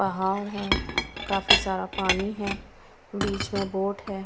पहाड़ है काफी सारा पानी है बीच में बोट है।